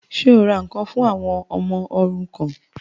Ṣé o ra ǹkan fún àwọn ọmọ òrukàn?